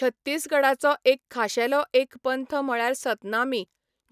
छत्तीसगडाचो एक खाशेलो एक पंथ म्हळ्यार सतनामी,